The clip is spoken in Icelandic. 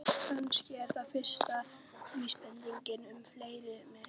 Kannski er það fyrsta vísbendingin um frelsi mitt.